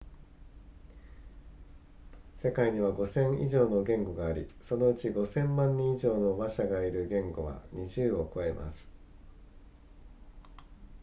世界には 5,000 以上の言語がありそのうち 5,000 万人以上の話者がいる言語は20を超えます